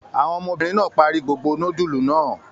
Àwọn ọmọbìnrin náà parí gbogbo núdúlù náà?